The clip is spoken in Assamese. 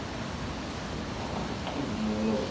মোৰ লগত